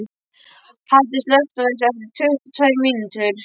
Haddi, slökktu á þessu eftir tuttugu og tvær mínútur.